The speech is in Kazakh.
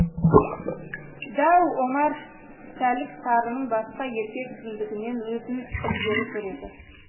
дәу омар сәлік сарының басқа еркек кіндігінен өзін ілгері көреді